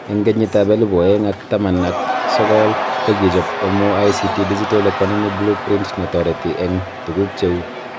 Eng kenyitab elebu oeng ak taman ak sokol ko kichob MoICT Digital Economy Blueprint nereti eng tuguk cheu